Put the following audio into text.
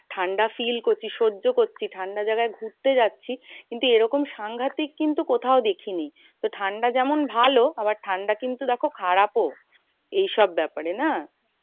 ঠান্ডা feel করছি। সহ্য করছি ঠান্ডায় যারা ঘুরতে যাচ্ছি। কিন্তু এরকম সাংঘাতিক কিন্তু কোথাও দেখিনি। ঠান্ডা যেমন ভালো, আবার ঠান্ডা কিন্তু দেখো খারাপও এইসব ব্যাপারে না?